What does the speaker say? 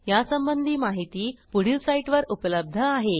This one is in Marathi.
यासंबंधी माहिती पुढील साईटवर उपलब्ध आहे